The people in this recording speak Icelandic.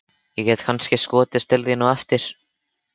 Ég get kannski skotist til þín á eftir.